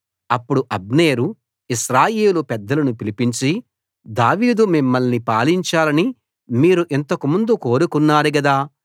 అప్పుడు అబ్నేరు ఇశ్రాయేలు పెద్దలను పిలిపించి దావీదు మిమ్మల్ని పాలించాలని మీరు ఇంతకు ముందు కోరుకున్నారు గదా